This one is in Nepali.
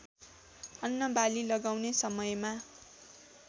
अन्नबाली लगाउने समयमा